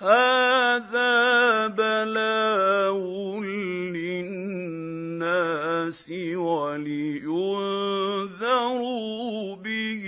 هَٰذَا بَلَاغٌ لِّلنَّاسِ وَلِيُنذَرُوا بِهِ